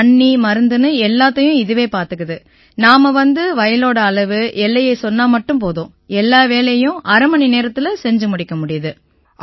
தண்ணி மருந்துன்னு எல்லாத்தையும் இதுவே பார்த்துக்குது நாம வந்து வயலோட அளவு எல்லையை சொன்னா மட்டும் போதும் எல்லா வேலையையும் அரை மணி நேரத்தில செஞ்சு முடிக்க முடியுது